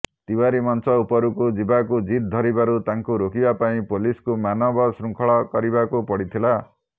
ତିଓ୍ବାରୀ ମଞ୍ଚ ଉପରକୁ ଯିବାକୁ ଜିଦ ଧରିବାରୁ ତାଙ୍କୁ ରୋକିବା ପାଇଁ ପୋଲିସକୁ ମାନବ ଶୃଙ୍ଖଳ କରିବାକୁ ପଡିଥିଲା